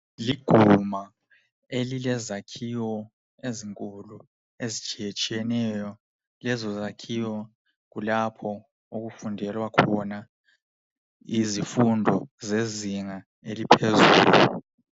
Liguma elilezakhiwo ezinkulu ezitshiye tshiyeneyo lezo zakhiwo kulapho okufundelwa khona izifundo zezinga eliphezulu